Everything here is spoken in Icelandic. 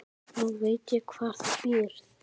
Nú veit ég hvar þú býrð.